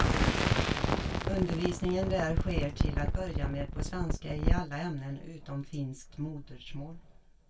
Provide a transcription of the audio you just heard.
Undervisningen där sker till att börja med på svenska i alla ämnen utom finskt modersmål.